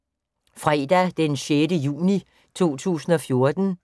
Fredag d. 6. juni 2014